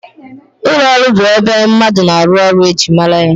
Ụlọọrụ bụ ebe mmadụ na-arụ ọrụ e ji mara ya